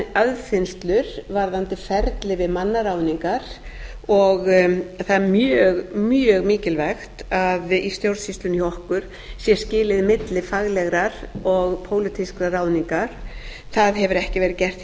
aðfinnslur varðandi ferli við mannaráðningar og það er mjög mikilvægt að í stjórnsýslunni hjá okkur sé skilið milli faglegrar og pólitískrar ráðningar það hefur ekki verið gert